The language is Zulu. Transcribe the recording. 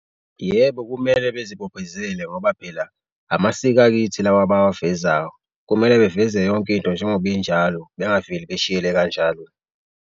Yebo, kumele bezibophezele ngoba phela amasiko akithi lawa abawavezayo, kumele beveze yonke into njengoba injalo bengaveli beshiyele kanjalo.